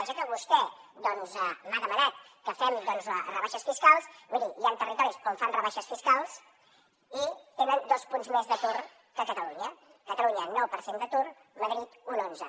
ja que vostè doncs m’ha demanat que fem rebaixes fiscals miri hi han territoris on fan rebaixes fiscals i tenen dos punts més d’atur que a catalunya catalunya nou per cent d’atur madrid un onze